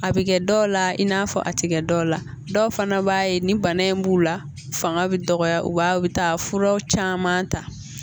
A bɛ kɛ dɔw la, i n'a fɔ a ti kɛ dɔw la, dɔw fana b'a ye ni bana b'u la ,fanga bɛ dɔgɔya u b'a ye u bɛ taa furaw caman ta!